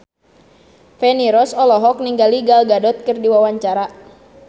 Feni Rose olohok ningali Gal Gadot keur diwawancara